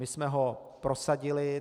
My jsme ho prosadili.